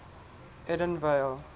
edenvale